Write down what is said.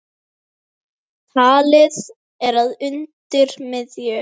Talið er að undir miðju